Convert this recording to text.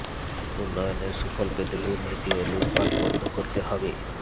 উন্নয়নের সুফল পেতে দুর্নীতি ও লুটপাট বন্ধ করতে হবে